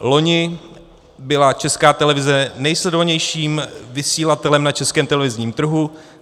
Loni byla Česká televize nejsledovanějším vysílatelem na českém televizním trhu.